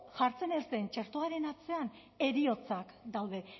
jartzen ez den txertoaren atzean heriotzak daude